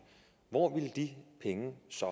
hvor ville de penge så